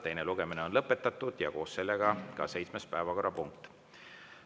Teine lugemine on lõpetatud ja koos sellega on lõpetatud ka seitsmenda päevakorrapunkti menetlemine.